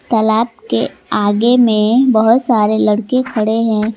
तालाब के आगे में बहुत सारे लड़के खड़े हैं।